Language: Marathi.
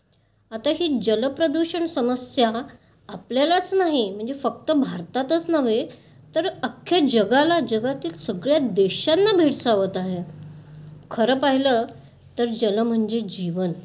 आता ही जल प्रदूषण समस्या आपल्यालाच नाही म्हणजे फक्त भारतातच नव्हे तर अख्ख्या जगाला, जगातील सगळ्या देशांना भेडसावत आहे. खरं पाहिलं तर जल म्हणजे जीवन...